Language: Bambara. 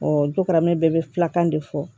dukaraman bɛɛ bɛ filakan de fɔ